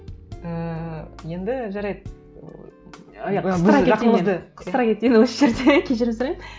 ііі енді жарайды ы қыстыра кетейін осы жерде кешірім сұраймын